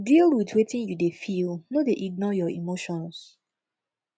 deal with wetin you de feel no de ignore your emotions